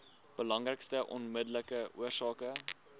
belangrikste onmiddellike oorsake